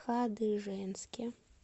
хадыженске